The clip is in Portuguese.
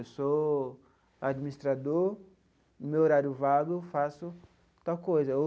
Eu sou administrador, no meu horário vago, faço tal coisa.